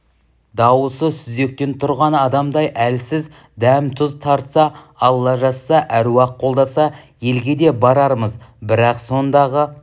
дауысы сүзектен тұрған адамдай әлсіз дәм-тұз тартса алла жазса әруақ қолдаса елге де барармыз бірақ сондағы